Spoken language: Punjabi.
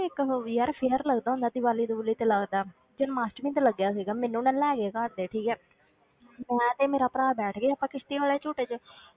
ਇੱਕ ਉਹ ਯਾਰ fair ਲੱਗਦਾ ਹੁੰਦਾ ਦੀਵਾਲੀ ਦਵੂਲੀ ਤੇ ਲੱਗਦਾ, ਜਨਮ ਅਸ਼ਟਮੀ ਤੇ ਲੱਗਿਆ ਸੀਗਾ, ਮੈਨੂੰ ਨਾ ਲੈ ਗਏ ਘਰ ਦੇ ਠੀਕ ਹੈ ਮੈਂ ਤੇ ਮੇਰਾ ਭਰਾ ਬੈਠ ਗਏ ਇੱਕ ਕਿਸ਼ਤੀ ਵਾਲੇ ਝੂਟੇ ਵਿੱਚ,